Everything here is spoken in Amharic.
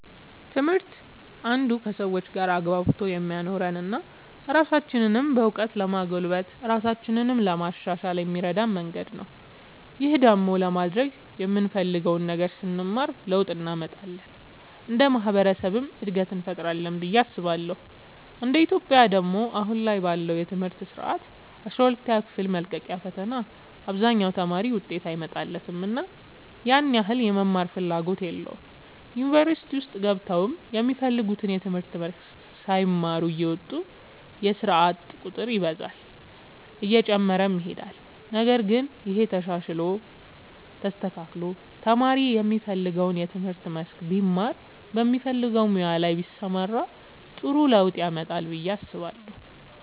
ትምህርት አንዱ ከሰዎች ጋር አግባብቶ የሚያኖረን እና ራሳችንንም በእውቀት ለማጎልበት ራሳችንን ለማሻሻል የሚረዳን መንገድ ነው። ይህን ደግሞ ለማድረግ የምንፈልገውን ነገር ስንማር ለውጥ እንመጣለን እንደ ማህበረሰብም እድገትን እንፈጥራለን ብዬ አስባለሁ እንደ ኢትዮጵያ ደግሞ አሁን ላይ ባለው የትምህርት ስርዓት አስራ ሁለተኛ ክፍል መልቀቂያ ፈተና አብዛኛው ተማሪ ውጤት አይመጣለትምና ያን ያህል የመማርም ፍላጎት የለውም ዩኒቨርሲቲ ውስጥ ገብተውም የሚፈልጉትን የትምህርት መስክ ሳይማሩ እየወጡ የስርዓት ቁጥር ይበዛል እየጨመረም ይሄዳል ነገር ግን ይሄ ተሻሽሎ ተስተካክሎ ተማሪ የሚፈልገውን የትምህርት መስክ ቢማር በሚፈልገው ሙያ ላይ ቢሰማራ ጥሩ ለውጥ ያመጣል ብዬ አስባለሁ።